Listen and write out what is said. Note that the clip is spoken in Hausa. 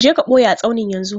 Je ka ɓoye a tsaunin yanzu!